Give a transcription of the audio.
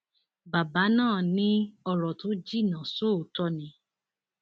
bàbá náà ní ọrọ tó jìnnà sóòótọ ni